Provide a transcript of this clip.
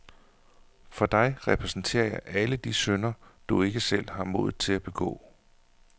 For dig repræsenterer jeg alle de synder, du ikke selv har modet til at begå.